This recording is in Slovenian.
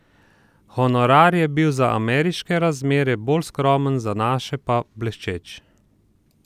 Honorar je bil za ameriške razmere bolj skromen, za naše pa bleščeč.